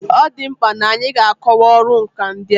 Ọ dị mkpa n'anyị ga-akọwa ọrụ nkà ndị a.